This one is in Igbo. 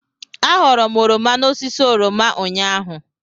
Aghọrọ m oroma n'osisi oroma ụnyaahụ.